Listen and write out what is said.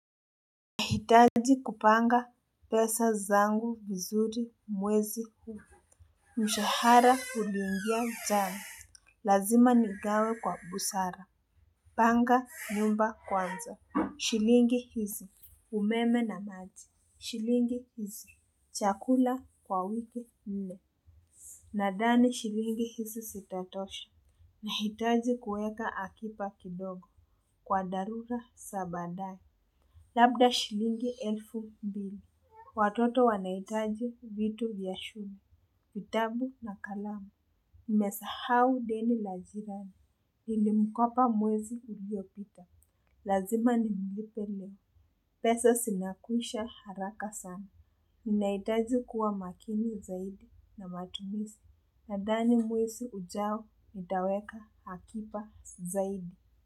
Nahitaji kupanga pesa zangu vizuri mwezi huu mshahara uliingia jana lazima nigawe kwa busara. Panga nyumba kwanza shilingi hizi. Umeme na maji shilingi hizi, chakula kwa wiki nne nadhani shilingi hizi zitatosha nahitaji kueka akiba kidogo. Kwa dharura za baadaye, labda shilingi elfu mbili. Watoto wanahitaji vitu vya shule, vitabu na kalamu, nimesahau deni la jirani, nili mkopa mwezi uliopita, lazima nimlipe leo, pesa zinakwisha haraka sana, nina hitaji kuwa makini zaidi na matumizi, nadhani mwezi ujao, nitaweka akiba zaidi.